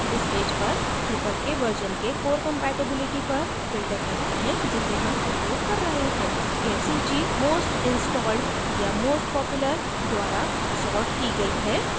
इस पेज पर drupal के version के core compatibility पर filter करते हैं जिसे हम उपयोग कर रहे हैं यह सूची most installed या most popular द्वारा सॉर्ट की गई है